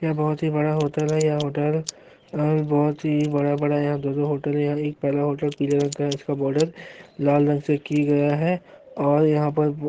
यह बहुत-ही बड़ा होटल है यह होटल बहुत-ही बड़ा-बड़ा है यह दो-दो होटल है यह एक पहला होटल पीले रंग का है इसका बॉर्डर लाल रंग से कि गया है और यहां पर--